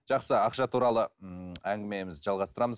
жақсы ақша туралы м әңгімемізді жалғастырамыз